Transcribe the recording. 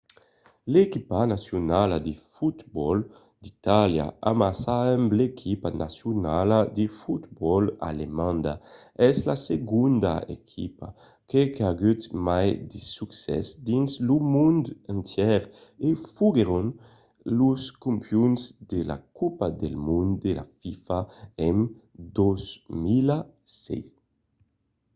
l'equipa nacionala de fotbòl d'itàlia amassa amb l'equipa nacionala de fotbòl alemanda es la segonda equipa qu'a agut mai de succès dins lo mond entièr e foguèron los campions de la copa del mond de la fifa en 2006